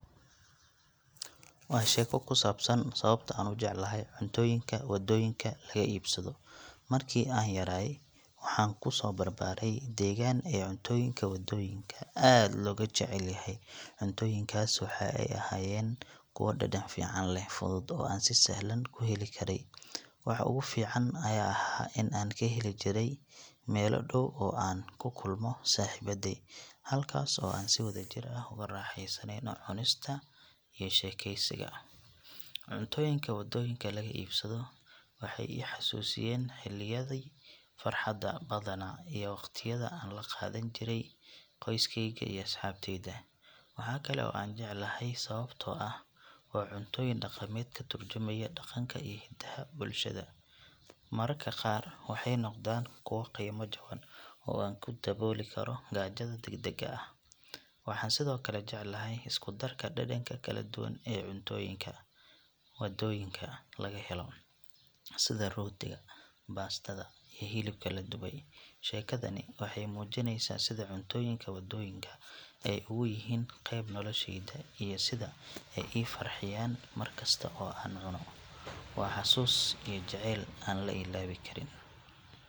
Waa sheeko ku saabsan sababta aan u jeclahay cuntooyinka waddooyinka laga iibsado. Markii aan yaraaye waxaan ku soo barbaaray deegaan ay cuntooyinka waddooyinka aad looga jecel yahay. Cuntooyinkaas waxay ahaayeen kuwo dhadhan fiican leh, fudud oo aan si sahlan ku heli karay. Waxa ugu fiican ayaa ahaa in aan ka heli jiray meelo dhow oo aan ku kulmo saaxiibbaday, halkaas oo aan si wadajir ah ugu raaxaysano cunista iyo sheekeysiga. Cuntooyinka waddooyinka laga iibsado waxay i xasuusiyaan xilliyadii farxadda badnaa iyo waqtiyada aan la qaadan jiray qoyskeyga iyo asxaabteyda. Waxa kale oo aan jeclahay sababtoo ah waa cuntooyin dhaqameed ka tarjumaya dhaqanka iyo hidaha bulshada. Mararka qaar waxay noqdaan kuwo qiimo jaban oo aan ku dabooli karo gaajada degdegga ah. Waxaan sidoo kale jecelahay isku darka dhadhanka kala duwan ee cuntooyinka waddooyinka laga helo, sida rootiga, baastada, iyo hilibka la dubay. Sheekadani waxay muujinaysaa sida cuntooyinka waddooyinka ay ugu yihiin qayb nolosheyda iyo sida ay ii farxiyaan markasta oo aan cunno. Waa xusuus iyo jacayl aan la ilaawi karin.